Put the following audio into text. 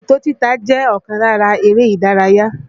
Òkòtó títa jẹ́ ọ̀kan lára eré ìdárayá